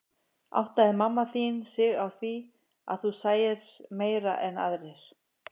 Áttaði mamma þín sig á því að þú sæir meira en aðrir?